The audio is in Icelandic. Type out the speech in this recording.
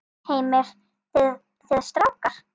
Heimir: Þið strákar?